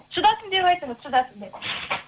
шыдасын деп айтыңыз шыдасын деп